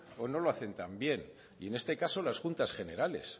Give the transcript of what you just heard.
o no lo hacen tan bien y en este caso las juntas generales